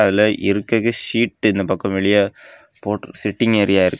அதுல இருக்ககு சீட் இந்த பக்கம் வெளிய போற்றுகு சிட்டிங் ஏரியா இருக்கு.